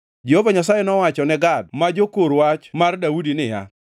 Jehova Nyasaye nowacho ne Gad ma jokor wach mar Daudi niya,